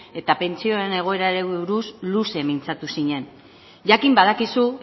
eta pentsioen egoerari buruz luze mintzatu zinen jakin badakizu